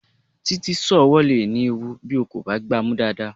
Títí, sọ́ọ̀ ọwọ́ le ní ewu bí o kò bá gbá a mú dáadáa.